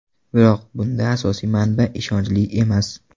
Biroq bunda asosiy manba ishonchli emas.